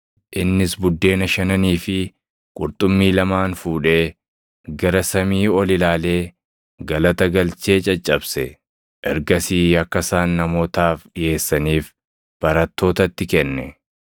Innis buddeena shananii fi qurxummii lamaan fuudhee, gara samii ol ilaalee galata galchee caccabse. Ergasii akka isaan namootaaf dhiʼeessaniif barattootatti kenne.